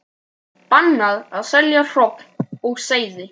Bannað að selja hrogn og seiði